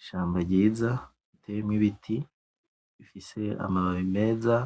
Ishamba ryiza riteyemwo ibiti rifise amababi meza